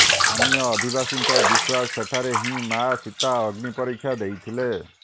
ସ୍ଥାନୀୟ ଅଧିବାସୀଙ୍କ ବିଶ୍ୱାସ ସେଠାରେ ହିଁ ମାଆ ସୀତା ଅଗ୍ନି ପରୀକ୍ଷା ଦେଇଥିଲେ